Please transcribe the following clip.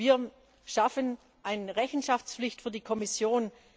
Wir schaffen eine Rechenschaftspflicht für die Kommission.